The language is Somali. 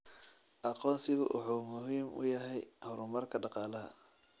Aqoonsigu wuxuu muhiim u yahay horumarka dhaqaalaha.